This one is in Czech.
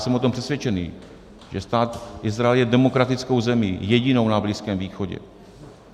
Jsem o tom přesvědčený, že stát Izrael je demokratickou zemí, jedinou na Blízkém východě.